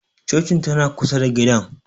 Cocin tana kusa da gidan